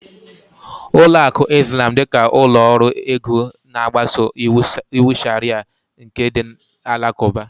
Ụlọ akụ Izlam dịka ụlọ ọrụ ego na-agbaso iwu Sharịa nke ndị Alakụba